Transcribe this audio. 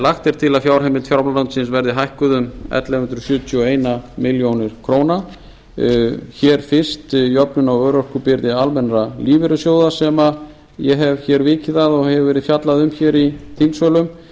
lagt er til að fjárheimild fjármálaráðuneytisins verði hækkuð um ellefu hundruð sjötíu og eina milljón króna fyrst jöfnun á örorkubyrði almennra lífeyrissjóða sem ég hef vikið að og hefur verið fjallað um í þingsölum